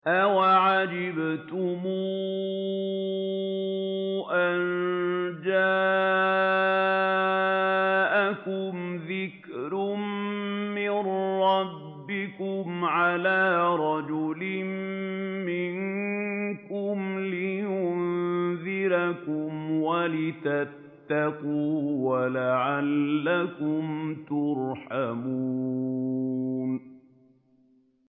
أَوَعَجِبْتُمْ أَن جَاءَكُمْ ذِكْرٌ مِّن رَّبِّكُمْ عَلَىٰ رَجُلٍ مِّنكُمْ لِيُنذِرَكُمْ وَلِتَتَّقُوا وَلَعَلَّكُمْ تُرْحَمُونَ